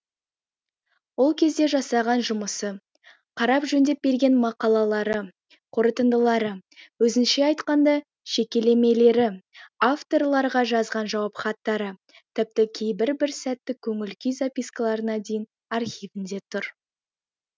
ол кезде жасаған жұмысы қарап жөндеп берген мақалалары қорытындылары өзінше айтқанда шекелемелері авторларға жазған жауап хаттары тіпті кейбір бір сәттік көңіл күй запискаларына дейін архивінде тұр